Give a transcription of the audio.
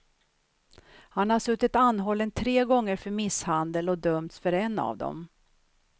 Han har suttit anhållen tre gånger för misshandel, dömts för en av dem.